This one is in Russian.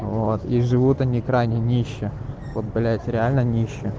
вот и живут они крайне нище вот блядь реально нище